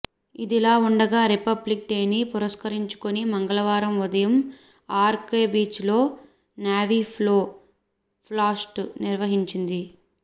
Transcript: ఇదిలా ఉండగా రిపబ్లిక్ డేని పురస్కరించుకుని మంగళవారం ఉదయం ఆర్కె బీచ్లో నేవీ ఫ్లై పాస్ట్ను నిర్వహించింది